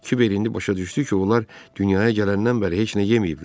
Kiber indi başa düşdü ki, onlar dünyaya gələndən bəri heç nə yeməyiblər.